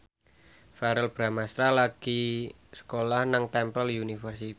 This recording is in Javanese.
Verrell Bramastra lagi sekolah nang Temple University